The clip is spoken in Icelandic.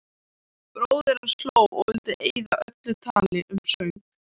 Bróðir hans hló og vildi eyða öllu tali um söng.